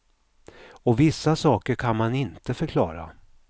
Och vissa saker kan man inte förklara.